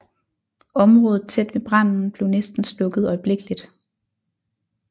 Området tæt ved branden blev næsten slukket øjeblikkeligt